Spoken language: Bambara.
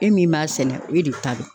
E min b'a sɛnɛ e de ta don.